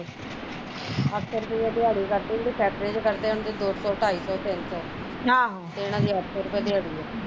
ਅੱਠ ਸੋ ਰੁਪਿਆ ਦਿਆੜੀ ਕਰਤੀ ਜਿਹਦੇ ਫੈਕਟਰੀਆਂ ਚ ਕਰਦੇ ਆ ਉਹਨਾਂ ਡਿ ਦੋ ਸੋ ਢਾਈ ਸੋ ਤਿੰਨ ਸੋ ਤੇ ਏਹਨਾ ਦੀ ਅੱਠ ਸੋ ਰੁਪਏ ਦਿਆੜੀ ਆ